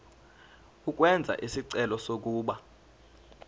ukwenza isicelo sokuba